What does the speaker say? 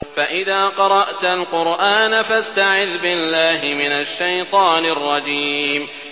فَإِذَا قَرَأْتَ الْقُرْآنَ فَاسْتَعِذْ بِاللَّهِ مِنَ الشَّيْطَانِ الرَّجِيمِ